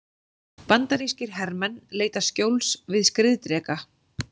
Bandarískir hermenn leita skjóls við skriðdreka.